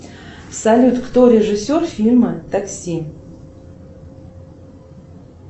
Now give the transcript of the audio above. салют кто режиссер фильма такси